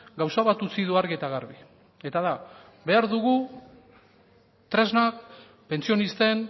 gauza bat utzi du argi eta garbi eta da behar dugu tresna pentsionisten